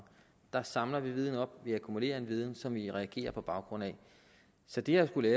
der samler vi viden op vi akkumulerer en viden som vi reagerer på baggrund af så det at skulle